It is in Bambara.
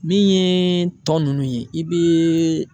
Min ye tɔ nunnu ye i be